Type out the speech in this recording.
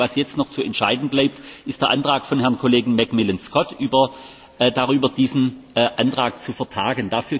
Das einzige, was jetzt noch zu entscheiden bleibt, ist der Antrag von Herrn McMillan Scott darüber, diesen Antrag zu vertagen.